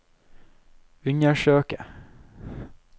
undersøke